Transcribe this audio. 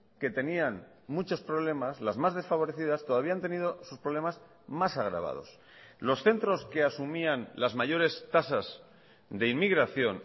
que tenían muchos problemas las más desfavorecidas todavía han tenido sus problemas más agravados los centros que asumían las mayores tasas de inmigración